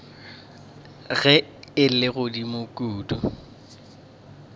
ge e le godimo kudu